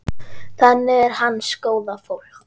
Þannig er hans góða fólk.